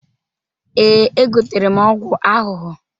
Ee, egotere m ọgwụ ahụhụ.